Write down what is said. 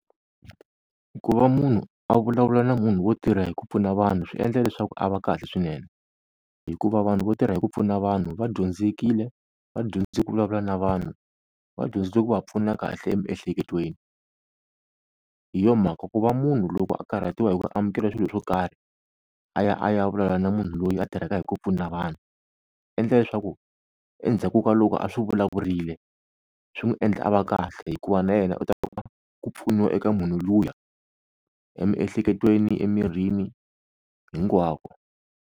Ku va munhu a vulavula na munhu wo tirha hi ku pfuna vanhu swi endla leswaku a va kahle swinene, hikuva vanhu vo tirha hi ku pfuna vanhu va dyondzekile va dyondze ku vulavula na vanhu va dyondze ku va pfuna kahle emiehleketweni. Hi yo mhaka ku va munhu loko a karhatiwa hi ku amukela swilo swo karhi a ya a ya vulavula na munhu loyi a tirhaka hi ku pfuna vanhu endla leswaku endzhaku ka loko a swi vulavurile swi n'wi endla a va kahle hikuva na yena u ta ku pfuniwa eka munhu luya emiehleketweni emirini hinkwako.